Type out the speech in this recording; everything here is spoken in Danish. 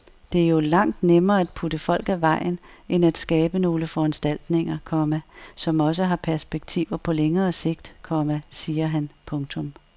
Det er jo langt nemmere at putte folk af vejen end at skabe nogle foranstaltninger, komma som også har perspektiver på længere sigt, komma siger han. punktum